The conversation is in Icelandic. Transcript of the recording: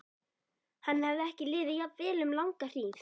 Henni hafði ekki liðið jafn vel um langa hríð.